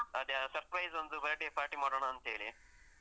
ಅದೇ, ಆ surprise ದು ಒಂದು birthday party ಮಾಡೋಣಾಂತೇಳಿ.